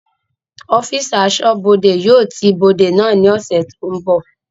Ọ́físà Aṣọ́bọdè yóò ti ibodè ní ọ̀sẹ̀ tó ń bọ̀